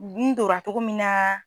Gun dora cogo min na.